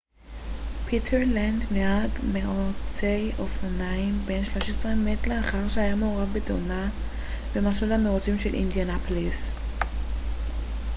פיטר לנץ נהג מירוצי אופנועים בן 13 מת לאחר שהיה מעורב בתאונה במסלול המירוצים של אינדיאנפוליס